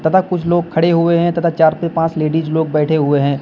तथा कुछ लोग खड़े हुए हैं तथा चार पे पांच लेडिज लोग बैठे हुए हैं।